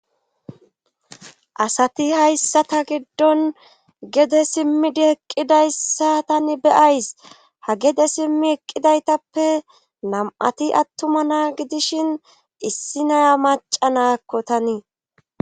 asati hayssa ta giddon gede simmidi eqqidayssa tani beyays. ha gede simmi eqqidaytappe nam7ati attuma na ,gidishin issi naya macca naakko tanii.